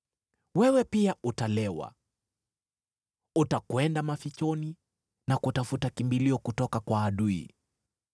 Wewe pia utalewa; utakwenda mafichoni na kutafuta kimbilio kutoka kwa adui.